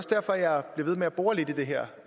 derfor jeg bliver ved med at bore lidt i det her